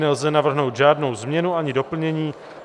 Nelze navrhnout žádnou změnu ani doplnění.